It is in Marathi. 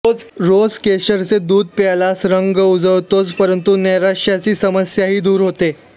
रोज केशराचे दूध प्यायल्यास रंग उजळतोच परंतु नैराश्याची समस्याही दूर होते